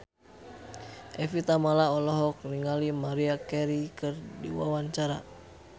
Evie Tamala olohok ningali Maria Carey keur diwawancara